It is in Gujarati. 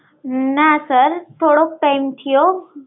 ના sir થોડોક time થયો